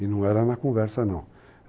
E não era na conversa, não.